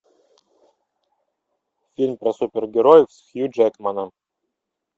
фильм про супергероев с хью джекманом